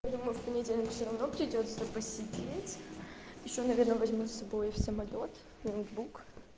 я думаю в понедельник все равно придётся посидеть ещё наверное возьму с собой в самолёт ноутбук